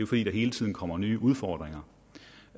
fordi der hele tiden kommer nye udfordringer